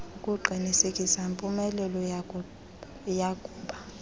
akuqinisekisi mpumelelo yakuba